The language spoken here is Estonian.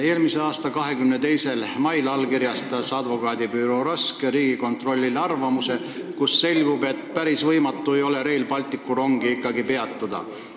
Eelmise aasta 22. mail edastas Advokaadibüroo Rask Riigikontrollile arvamuse, kust selgub, et päris võimatu Rail Balticu rongi peatada ikkagi ei ole.